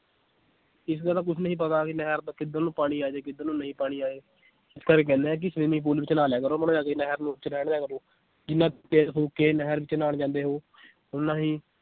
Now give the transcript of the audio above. ਇਸ ਗੱਲ ਦਾ ਕੁਛ ਨਹੀਂ ਪਤਾ ਵੀ ਨਹਿਰ ਦਾ ਕਿੱਧਰ ਨੂੰ ਪਾਣੀ ਆ ਜਾਏ ਕਿੱਧਰ ਨੂੰ ਨਹੀਂ ਪਾਣੀ ਆਏ ਇਸ ਕਰਕੇ ਕਹਿੰਨੇ ਆ ਕਿ swimming pool ਵਿੱਚ ਨਹਾ ਲਿਆ ਕਰੋ ਨਹਿਰ ਨੁਹਰ ਚ ਰਹਿਣ ਦਿਆ ਕਰੋ ਜਿਨਾਂ ਤੇਲ ਫੂਕ ਕੇ ਨਹਿਰ ਵਿਚ ਨਹਾਉਣ ਜਾਂਦੇ ਹੋ ਓਨਾ ਹੀ